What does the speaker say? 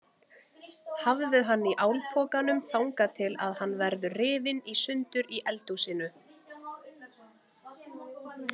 Hafðu hann í álpokanum þangað til að hann verður rifinn í sundur í eldhúsinu.